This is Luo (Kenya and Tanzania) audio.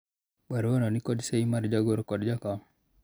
baruano nikod sei mar jagoro kod jakom